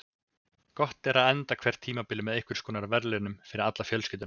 Gott er að enda hvert tímabil með einhvers konar verðlaunum fyrir alla fjölskylduna.